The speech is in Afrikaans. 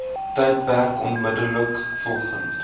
tydperk onmiddellik volgend